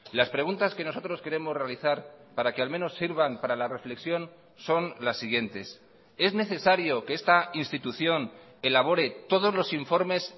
las preguntas que nosotros queremos realizar para que al menos sirvan para la reflexión son las siguientes es necesario que esta institución elabore todos los informes